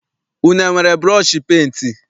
Unu enwere burọshi penti?